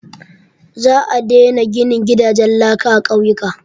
Za a daina ginin gidajen laka a ƙauyuka.